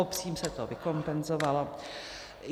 Obcím se to vykompenzovalo.